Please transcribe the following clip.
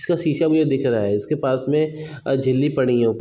इसका शीशा भी दिख रहा है इसके पास में झिल्ली पड़ी है।